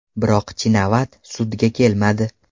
Biroq Chinavat sudga kelmadi.